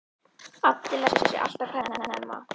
Addi lætur sig alltaf hverfa snemma.